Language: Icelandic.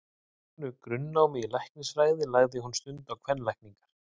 Að loknu grunnnámi í læknisfræði lagði hún stund á kvenlækningar.